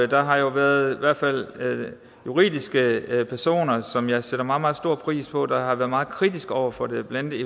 der har jo været i hvert fald juridiske personer som jeg sætter meget meget stor pris på der har været meget kritiske over for det blandt